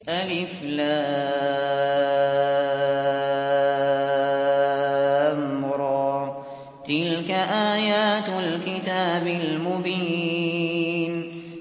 الر ۚ تِلْكَ آيَاتُ الْكِتَابِ الْمُبِينِ